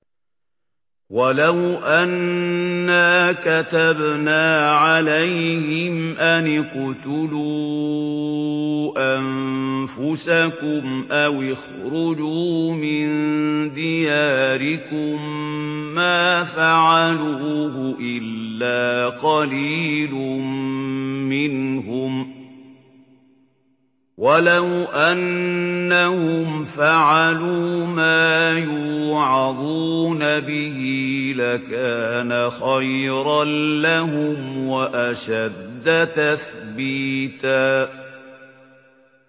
وَلَوْ أَنَّا كَتَبْنَا عَلَيْهِمْ أَنِ اقْتُلُوا أَنفُسَكُمْ أَوِ اخْرُجُوا مِن دِيَارِكُم مَّا فَعَلُوهُ إِلَّا قَلِيلٌ مِّنْهُمْ ۖ وَلَوْ أَنَّهُمْ فَعَلُوا مَا يُوعَظُونَ بِهِ لَكَانَ خَيْرًا لَّهُمْ وَأَشَدَّ تَثْبِيتًا